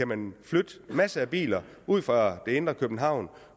man flytte masser af biler ud fra det indre københavn og